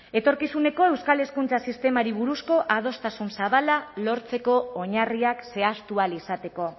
etorkizuneko euskal hezkuntza sistemari buruzko adostasun zabala lortzeko oinarriak zehaztu ahal izateko